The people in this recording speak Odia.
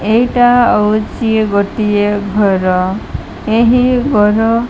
ଏଇଟା ଅଉଚି ଗୋଟିଏ ଘର ଏହି ଗର --